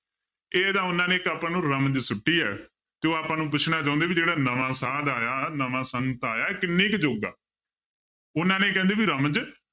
ਇਹ ਤਾਂ ਉਹਨਾਂ ਨੇ ਇੱਕ ਆਪਾਂ ਨੂੰ ਰਮਜ ਸੁੱਟੀ ਹੈ, ਤੇ ਉਹ ਆਪਾਂ ਨੂੰ ਪੁੱਛਣਾ ਚਾਹੁੰਦੇ ਵੀ ਜਿਹੜਾ ਨਵਾਂ ਸਾਧ ਆਇਆ ਨਵਾਂ ਸੰਤ ਆਇਆ ਇਹ ਕਿੰਨੇ ਕੁ ਦਊਗਾ, ਉਹਨਾਂ ਨੇ ਕਹਿੰਦੇ ਵੀ ਰਮਜ